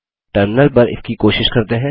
terminal पर इसकी कोशिश करते हैं